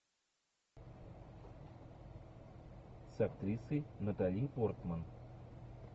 с актрисой натали портман